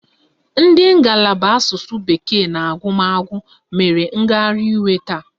Ndị ngalaba asụsụ bekee na agụmagụ mere ngagharị iwe taa.